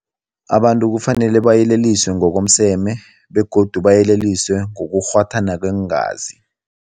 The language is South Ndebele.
Abantu kufanele bayeleliswe ngokomseme begodu bayeleliswe ngokurhwathana kweengazi.